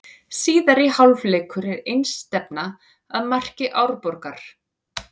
Síðari hálfleikur var einstefna að marki Árborgar.